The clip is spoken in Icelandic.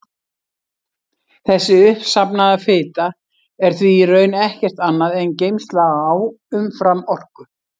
Þessi uppsafnaða fita er því í raun ekkert annað en geymsla á umframorku.